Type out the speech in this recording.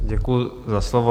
Děkuji za slovo.